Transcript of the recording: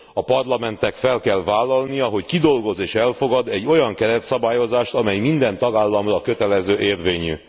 A Parlamentnek fel kell vállalnia, hogy kidolgoz és elfogad egy olyan keretszabályozást, amely minden tagállamra kötelező érvényű.